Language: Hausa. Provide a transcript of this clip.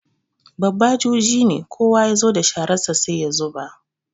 Babba juji ne, kowa ya zo da shararsa sai ya zuba.